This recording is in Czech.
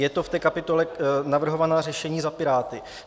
Je to v té kapitole Navrhovaná řešení za Piráty.